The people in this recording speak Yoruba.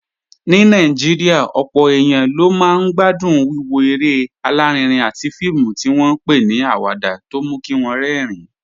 Ní Nàìjíríà, ọ̀pọ̀ èèyàn ló máa ń gbádùn wíwo eré alárinrin àti fíìmù tí wọ́n ń pè ní awada tó mú kí wọ́n rẹ́rìn-ín